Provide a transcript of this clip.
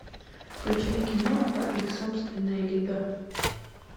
включай киноху их собственная лига